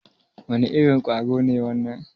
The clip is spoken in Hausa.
Wane irin ƙwaro ne wannan?